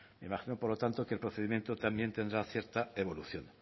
imagino por lo tanto que el procedimiento también tendrá cierta evolución